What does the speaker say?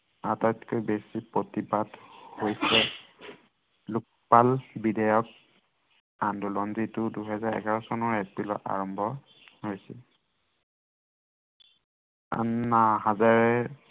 আটাইতকৈ বেছি প্ৰতিবাদ হৈছে লোকপাল বিধেয়ক, আন্দোলন, যিটো দুহেজাৰ এঘাৰ চনৰ এপ্ৰিলত আৰম্ভ হৈছিল আন্না হাজাৰেৰ